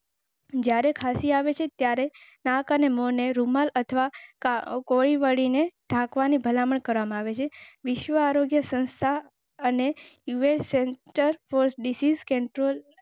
જ્યારે ખાંસી આવે ત્યારે નાક અને મોં ને રૂમાલ અથવા. આગવાની ભલામણ કરવામાં આવે. વિશ્વ આરોગ્ય સંસ્થા અને સેંટર.